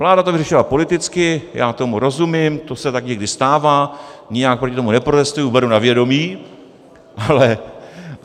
Vláda to vyřešila politicky, já tomu rozumím, to se tak někdy stává, nijak proti tomu neprotestuji, beru na vědomí.